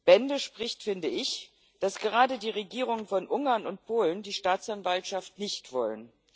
Bände spricht, finde ich, dass gerade die Regierungen von Ungarn und Polen die Staatsanwaltschaft nicht wollen.